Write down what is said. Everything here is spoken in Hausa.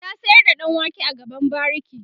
ta sayar da ɗan wake a gaban bariki